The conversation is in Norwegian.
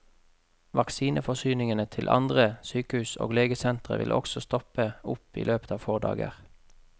Vaksineforsyningene til andre sykehus og legesentre vil også stoppe opp i løpet av få dager.